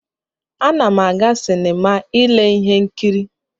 Ana m aga sinima ile ihe nkiri.